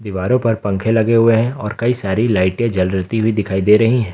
दीवारों पर पंखे लगे हुए हैं और कई सारी लाइटें जलती हुई दिखाई दे रही हैं